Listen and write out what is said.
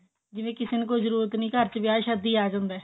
ਜਿਵੇਂ ਕਿਸੇ ਨੂੰ ਕੁੱਛ ਜਰੂਰਤ ਨਹੀਂ ਘਰ ਚ ਵਿਆਹ ਸ਼ਾਦੀ ਆ ਜਾਂਦਾ ਹੈ